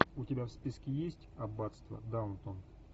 у тебя в списке есть аббатство даунтон